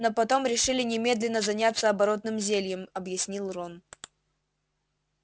но потом решили немедленно заняться оборотным зельем объяснил рон